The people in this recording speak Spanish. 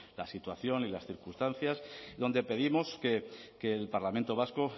la situación y las circunstancias donde pedimos que el parlamento vasco